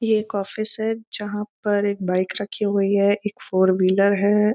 ये एक ऑफिस है जहाँ पर एक बाइक रखी हुवी है। एक फोर व्हीलर है।